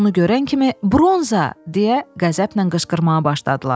Onu görən kimi, "Bronza!" deyə qəzəblə qışqırmağa başladılar.